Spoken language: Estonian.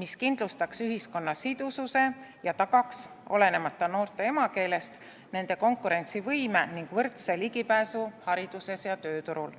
mis kindlustaks ühiskonna sidususe ja tagaks, olenemata noorte emakeelest, nende konkurentsivõime ning võrdse ligipääsu haridusele ja tööturule.